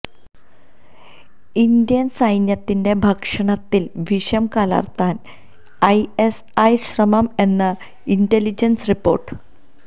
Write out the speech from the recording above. Indian സൈന്യത്തിന്റെ ഭക്ഷണത്തില് വിഷം കലര്ത്താന് ഐഎസ്ഐ ശ്രമം എന്ന് ഇന്റലിജന്സ് റിപ്പോര്ട്ട്